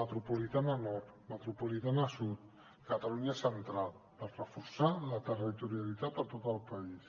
metropolitana nord metropolitana sud catalunya central per reforçar la territorialitat a tot el país